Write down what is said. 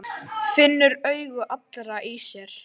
Finnur augu allra á sér.